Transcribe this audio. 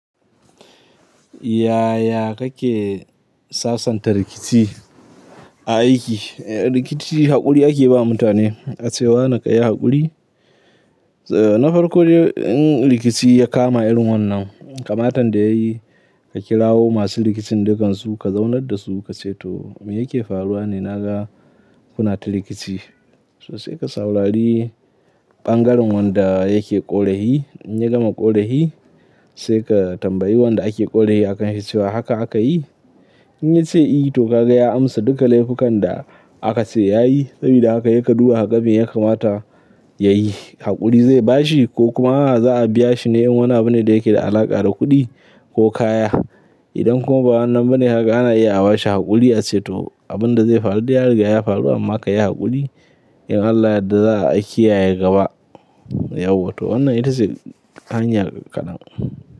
Yaya kake sasanta rikici a aiki? Rikici haƙuri ake ba mutane, ace wane kayi haƙuri. Na farko dai in rikici ya kama irin wannan, kamatan da yayi ka kirawo masu rikicin dukansu, ka zaunar dasu, ka ce to me yake faruwa ne naga kuna ta rikici. Sai ka saurari ɓangaren wanda yake ƙorahi, in ya gama ƙorahi, sai ka tambayi wanda ake ƙorahi akan shi cewa haka aka yi. In ya ce yi to ka ga ya amsa duka laifukan da aka ce ya yi. Sabida haka sai kaduba kaga me ya kamata ya yi. Haƙuri ze bashi ko kuma aa za a biya shi ne in wani abune da yake da alaƙa da kuɗi ko kaya. Idan kuma ba wannan bane haka ana iya aba'shi haƙuri ace to abin da zai faru, dai ya riga ya faru amma ka yi haƙuri. In Allah ya yadda za a kiyaye gaba, yau wato wannan ita ce hanya kadan.